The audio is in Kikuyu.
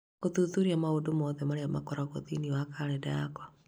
Gũthuthuria maũndũ mothe marĩa makoragwo thĩinĩ wa kalendarĩ yakwa